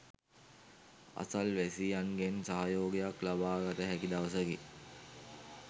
අසල්වැසියන්ගෙන් සහයෝගයක් ලබාගත හැකි දවසකි.